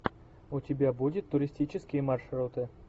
у тебя будет туристические маршруты